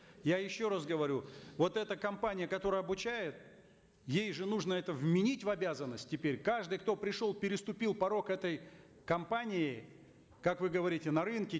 я еще раз говорю вот эта компания которая обучает ей же нужно это вменить в обязанность теперь каждый кто пришел переступил порог этой компании как вы говорите на рынке